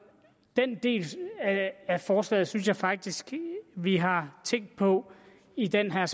den del af forslaget synes jeg faktisk vi har tænkt på i den her